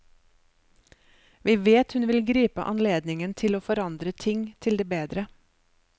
Vi vet hun vil gripe anledningen til å forandre ting til det bedre.